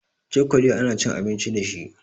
Cokali ana cin abinci dashi